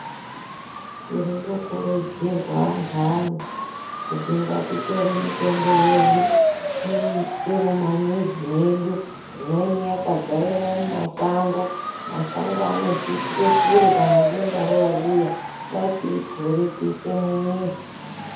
Tiri kukurudzirwa anthu ani kuti ngatitore mitombo yedu tiise mumamizi medu imweni yakadzaremwo mumashango mashango anotiitire kure kana denda rouya ngatiiture tiise mumizi.